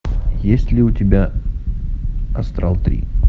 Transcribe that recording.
есть ли у тебя астрал три